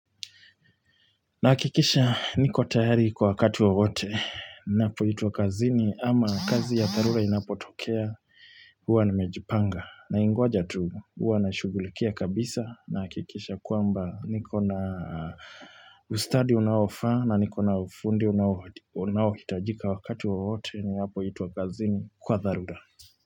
Nahakikisha niko tayari kwa wakati wowote napoitwa kazini ama kazi ya tharura inapotokea huwa nimejipanga naingoja tu huwa na shugulikia kabisa nahakikisha kwamba niko na ustadi unaofa na niko na ufundi unaohitajika wakati wowote ninapoitwa kazini kwa tharura.